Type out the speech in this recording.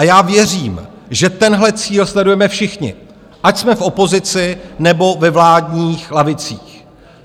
A já věřím, že tenhle cíl sledujeme všichni, ať jsme v opozici, nebo ve vládních lavicích.